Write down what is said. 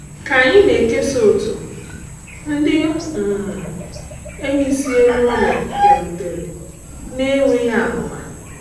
Ka anyị na-ekesa otu, ndị um enyi si elu ụlọ bịarutere na-enweghị amụma.